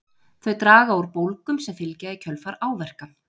Þau draga úr bólgum sem fylgja í kjölfar áverka.